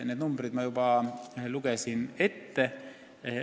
Need numbrid ma juba lugesin ette.